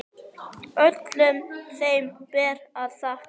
Öllum þeim ber að þakka.